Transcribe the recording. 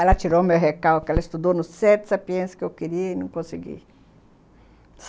Ela tirou o meu recalque que ela estudou nos sete sapiens que eu queria e não consegui.